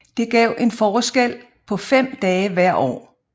Det gav en forskel på fem dage hver år